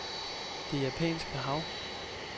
Det Japanske Hav